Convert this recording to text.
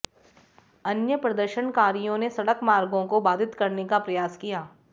अन्य प्रदर्शनकारियों ने सड़क मार्गों को बाधित करने का प्रयास किया